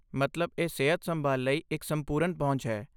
ਮਤਲਬ ਇਹ ਸਿਹਤ ਸੰਭਾਲ ਲਈ ਇੱਕ ਸੰਪੂਰਨ ਪਹੁੰਚ ਹੈ।